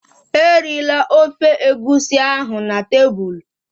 Erila ofe Egusi ahụ na tebụl!